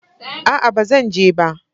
Aa, ba zan je ba